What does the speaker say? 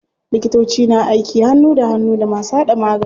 Likitoci na aiki hannu da hannu da masu hada magani.